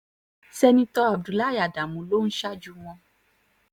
sẹ́ńtítọ́ abdullahi ádámù ló ń ṣáájú wọn